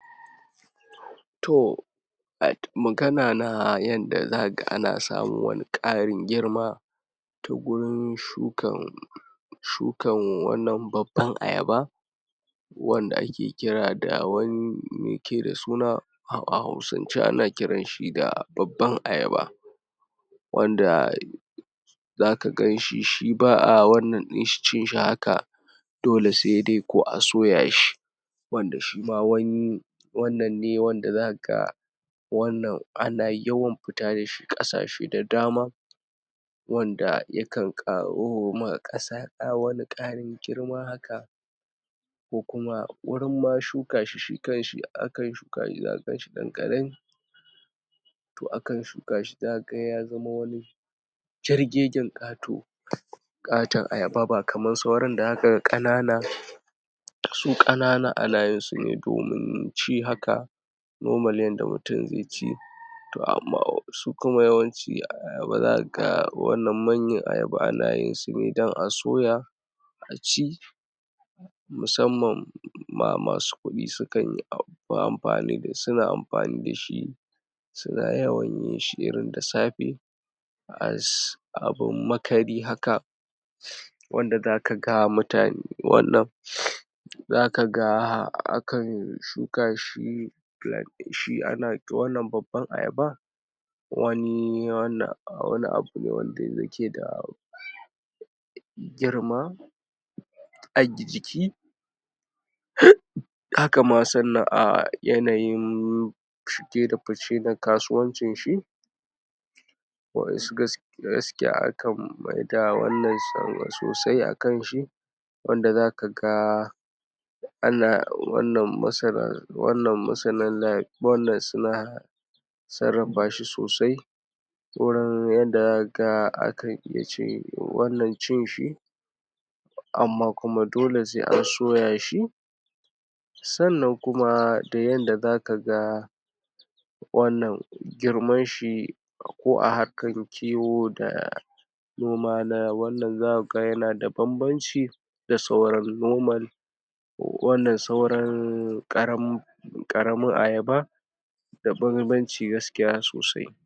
to magana na yanda zaka ga ana samun wani karin girma ta gurin shukan shukan babban ayaba wanda ake kira ba awani maiyake da suna a hausance ana kiranshi da babban ayaba wanda zaka ganshi zaka ganshi shi ba'a cin shi haka dole sai dai a soyashi wanda shima wannan ne wanda zaka ga wannan ana yawan fita dashi kasashe da dama wanda ya kan karowa kasa wani karin girma haka ko kuma wajen ma shuka shi shikanshi akan shukashi zaka ganshi dan karami to akan shukashi zaka ga yazama shirgegen kato katon ayaba ba kamar kanana ba su kanana haka ana yinsu ne domi ci haka normal yanda mutum zaici to amma su kumuma shi ayaba zakaga wannan manyan ayaba yin sune don a soya aci musamman masu kudi sukanyi fin amfani suna amfani dashi suna yawan yin shi da safe as abun makari haka wanda zaka ga mutane wannan zaka ga akan shukashi plan shi ana wannan babban ayaba wani wannan wani abu ne wanda yake da girma ajiki haka sannan a yanayin shige da fice a kasuwan cin shi wa yansu gaskiya akan maida wannan sosai akanshi wanda zaka ga ana wannan masana wannan masana lafiya suna sarrafa sosai sauran yanda zaka ga akan iya wannan cin shi amma kuma dole sai an soyashi sannan kuma da yadda zaka ga wannan girman shi ko a harkan kiwo da noman na wannan zakuga yana da banbanci da sauran noman wannan sauran karan karamin ayaba da banban ci gaaskiya sosai.